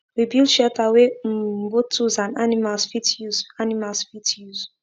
we build shelter wey um both tools and animals fit use animals fit use